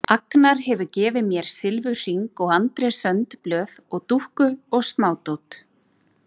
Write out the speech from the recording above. Agnar hefur gefið mér silfurhring og Andrés önd blöð og dúkku og smádót.